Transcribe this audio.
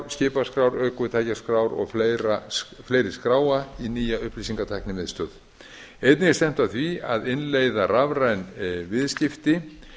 skipaskrár ökutækjaskrár og fleiri skráa í nýja upplýsingatæknimiðstöð einnig er stefnt að því að innleiða rafræn viðskipti